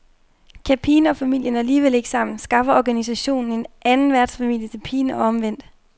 Kan pigen og familien alligevel ikke sammen, skaffer organisationen en anden værtsfamilie til pigen og omvendt.